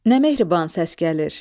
Nə mehriban səs gəlir.